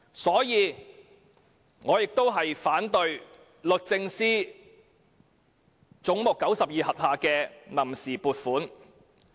因此，我反對總目92下的臨時撥款。